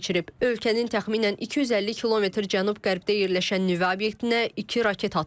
Ölkənin təxminən 250 kilometr cənub-qərbdə yerləşən nüvə obyektinə iki raket atılıb.